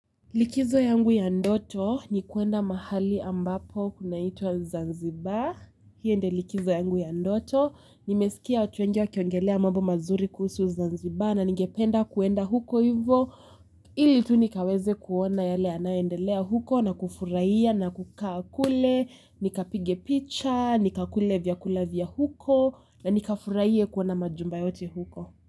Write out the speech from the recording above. Likizo yangu ya ndoto ni kuenda mahali ambapo kunaitwa Zanzibar. Hiyo ndiyo likizo yangu ya ndoto. Nimesikia watu wengi wakiongelea mambo mazuri kuhusu Zanzibar na ningependa kuenda huko hivo ili tu nikaweze kuona yale yanayoendelea huko na kufurahia na kukaa kule. Nikapige picha, nikakule vyakula vya huko na nikafurahie kuona majumba yote huko.